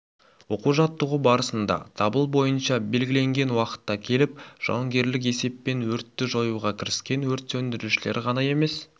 оқу-жаттығу барысында дабыл бойынша белгіленген уақытта келіп жауынгерлік есеппен өртті жоюға кіріскен өрт сөндірушілер ғана емес